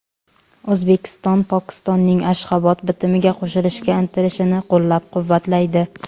O‘zbekiston Pokistonning Ashxobod bitimiga qo‘shilishga intilishini qo‘llab-quvvatlaydi.